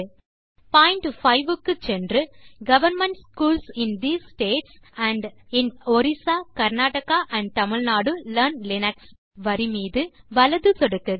point 5 க்கு சென்று government schools in these states and in Orissa Karnataka and Tamil Nadu learn Linux வரி மீது வலது சொடுக்குக